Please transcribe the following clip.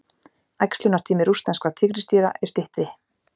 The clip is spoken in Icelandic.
Æxlunartími rússneskra tígrisdýra er styttri.